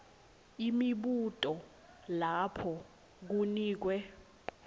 imibuto lapho kunikwe